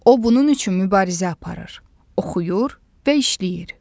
O bunun üçün mübarizə aparır, oxuyur və işləyir.